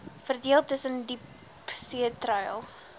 verdeel tussen diepseetreil